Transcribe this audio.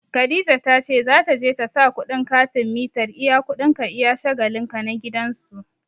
Khadija ta ce za ta je ta sa kuɗin katin mitar iya kuɗin ka iya shagalin ka na gidan su.